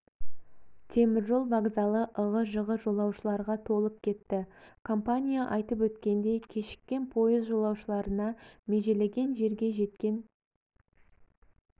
теміржол вокзалы ығы-жығы жолаушыларға толып кетті компания айтып өткендей кешіккен пойыз жолаушыларына межелеген жерге жеткен